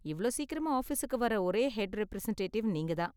இவ்ளோ சீக்கிரமா ஆபீஸுக்கு வர்ற ஒரே ஹெட் ரெப்ரசன்டேட்டிவ் நீங்க தான்.